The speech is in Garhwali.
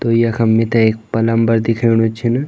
तो यखम मिथे एक पलम्बर दिख्येणु छिन।